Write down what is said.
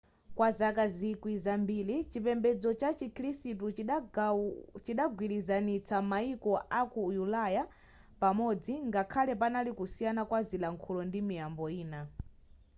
kwa zaka zikwi zambiri chipembedzo cha chikhirisitu chidagwirizanitsa mayiko aku ulaya pamodzi ngakhale panali kusiyana pa zilankhulo ndi miyambo ine